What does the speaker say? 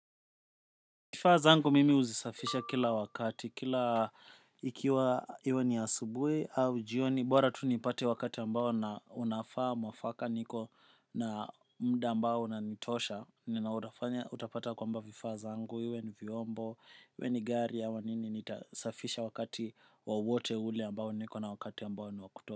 Vifaa zangu mimi huzisafisha kila wakati, kila ikiwa iwe ni asubui au jioni, bora tu nipate wakati ambao na unafaa mwafaka niko na muda ambao na unanitosha, nautafanya utapata kwamba vifaa zangu, iwe ni vyombo, iwe ni gari ya au nini, nitasafisha wakati wowote ule ambao niko na wakati ambao ni wakuto.